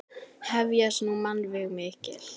Hefjast nú mannvíg mikil.